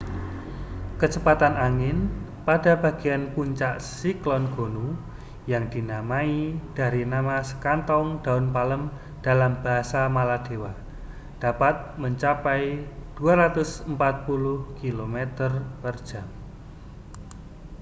kecepatan angin pada bagian puncak siklon gonu yang dinamai dari nama sekantong daun palem dalam bahasa maladewa dapat mencapai 240 kilometer per jam